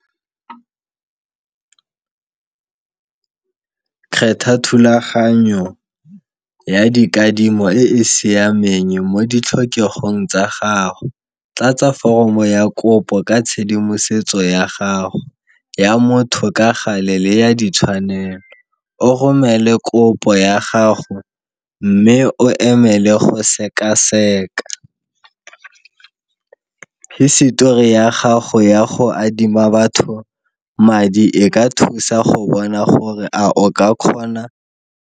Kgetha thulaganyo ya dikadimo e e siameng mo ditlhokegong tsa gago, tlatsa foromo ya kopo ka tshedimosetso ya gago ya motho ka gale le ya ditshwanelo, o romele kopo ya gago mme o emele go sekaseka hisetori ya gago ya go adima batho madi e ka thusa go bona gore a o ka kgona.